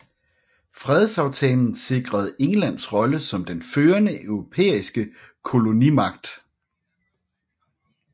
Fredsaftalen sikrede Englands rolle som den førende europæiske kolonimagt